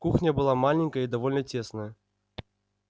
кухня была маленькая и довольно тесная